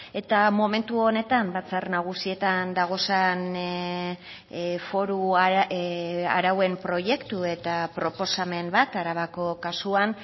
eta momentu honetan batzar nagusietan dagozan foru arauen proiektu eta proposamen bat arabako kasuan